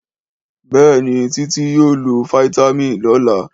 Béèni, Titi yóò lofitámin lọla